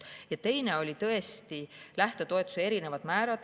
Teine oli tõesti lähtetoetuse erinevate määrade kohta.